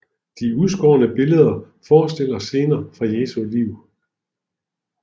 De udskårne billeder forestiller scener fra Jesu liv